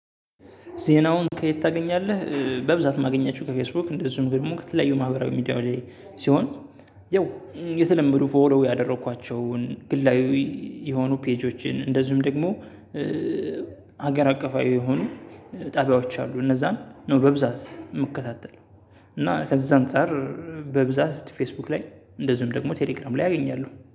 ዜናውን ከየት ታገኛለህ? በብዛት እማገኛቸው ከፌስቡክ እንደዚሁም ደግሞ ከተለያዩ ማህበራዊ ሚዲያ ላይ ሲሆን ያው የተለመዱ ፎሎ ያደረኳቸውን ግላዊ የሆኑ ፔጆችን እንደዚሁም ደግሞ። ሀገር አቀፋዊ የሆኑ ጣቢያዎች አሉ እነዛን ነው በብዛት የምከታተለው። እና ከዛ አንፃር በብዛት ፌስቡክ ላይ እንደዚሁም ደግሞ ቴሌግራም ላይ አገኛለሁ